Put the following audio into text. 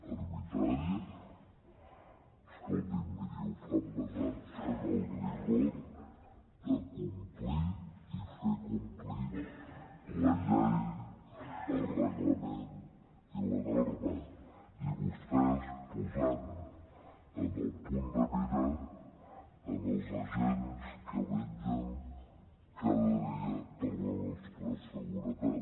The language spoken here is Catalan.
arbitrària escolti’m miri ho fan basant se en el rigor de complir i fer complir la llei el reglament i la norma i vostès posant en el punt de mira els agents que vetllen cada dia per la nostra seguretat